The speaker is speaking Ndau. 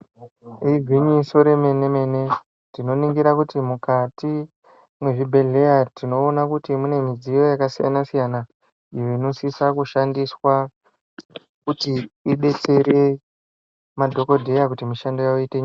Igwinyiso remene mene tinoningira kuti mukati mwezvibhedhlera tinoone kuti mune midziyo yakasiyana siyana iyo unosisa kushandiswa kuti idetsere madhokoteya kuti mishando yavo iite nyore.